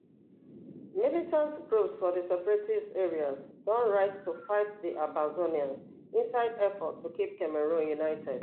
militant groups for di separatist areas don rise to fight di ambazonians inside effort to keep cameroon united